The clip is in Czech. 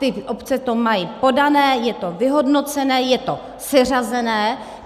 Ty obce to mají podané, je to vyhodnocené, je to seřazené.